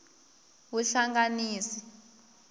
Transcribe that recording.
vuhlanganisi